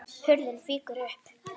Hurðin fýkur upp.